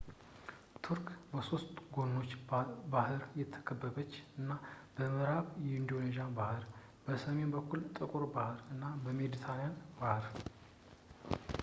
ቱርክ በሶስት ጎኖች በባህር የተከበበች ናት-በምእራብ የኤጂያን ባህር ፣ በሰሜን በኩል ጥቁር ባህር እና በሜድትራንያን ባህር